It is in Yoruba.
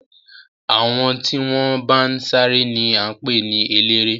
Àwọn tí wọ́n bá ń sáré ni wọ́n ń pè ní eléré.